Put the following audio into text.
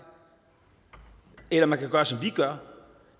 eller man kan gøre som vi gør